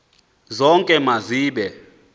zonke ma zibe